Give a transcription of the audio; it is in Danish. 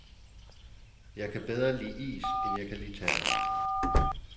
Jeg kan bedre lide is, end jeg kan lide tærte.